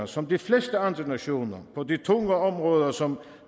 som de fleste andre nationer på de tunge områder som